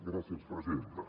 gràcies presidenta